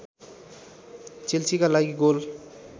चेल्सीका लागि गोल